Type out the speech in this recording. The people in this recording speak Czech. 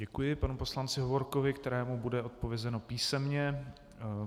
Děkuji panu poslanci Hovorkovi, kterému bude odpovězeno písemně.